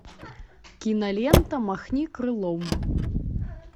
кинолента махни крылом